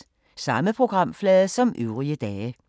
Samme programflade som øvrige dage